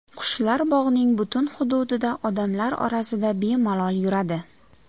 Qushlar bog‘ning butun hududida, odamlar orasida bemalol yuradi.